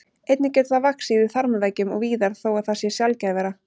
Einnig getur það vaxið í þarmaveggjum og víðar þó að það sé sjaldgæfara.